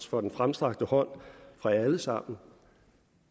for den fremstrakte hånd fra jer alle sammen